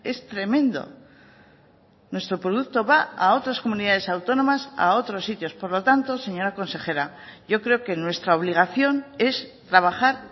es tremendo nuestro producto va a otras comunidades autónomas a otros sitios por lo tanto señora consejera yo creo que nuestra obligación es trabajar